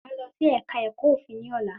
Máà lọ sí ẹ̀ka ẹ̀kọ́ òfin ní ọ̀lá